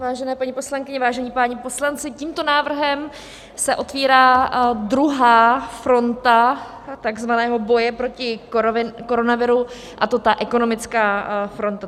Vážené paní poslankyně, vážení páni poslanci, tímto návrhem se otevírá druhá fronta tzv. boje proti koronaviru, a to ta ekonomická fronta.